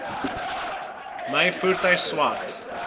my voertuig swart